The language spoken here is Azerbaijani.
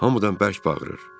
Hamıdan bərk bağırır.